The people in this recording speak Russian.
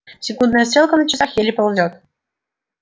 секундная стрелка на часах еле ползёт